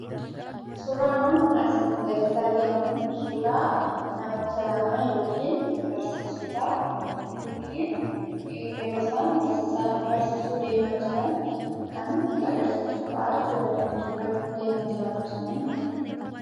Suuraan nun asii gaditti arginu kun suuraa namoota lama yookiin barsiisota yookiin yeroo isaan barsiisuu deeman kan nutti agarsiisudha.